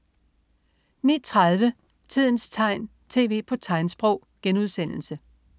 09.30 Tidens tegn, tv på tegnsprog*